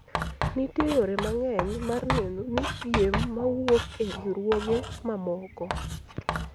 nitie yore mang'eny mar neno ni piem mawuok e riwruoge mamoko